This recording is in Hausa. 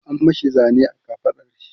an mashi Zane a kafaɗar shi